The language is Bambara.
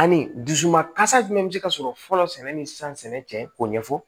Ani dusuma kasa jumɛn be se ka sɔrɔ fɔlɔ sɛnɛ ni san sɛnɛ cɛ k'o ɲɛfɔ